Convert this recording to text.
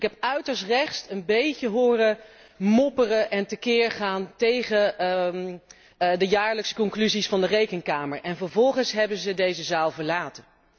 Ik heb uiterst rechts een beetje horen mopperen en tekeergaan tegen de jaarlijkse conclusies van de Rekenkamer en vervolgens hebben ze deze zaal verlaten.